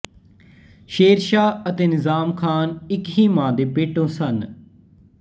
ਸ਼ੇਰ ਸ਼ਾਹ ਅਤੇ ਨਿਜ਼ਾਮ ਖ਼ਾਨ ਇੱਕ ਹੀ ਮਾਂ ਦੇ ਪੇਟੋਂ ਸਨ